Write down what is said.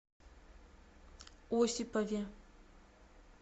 осипове